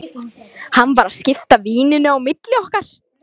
Hann var að skipta víninu á milli okkar!